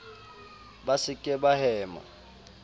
ba se ke ba hema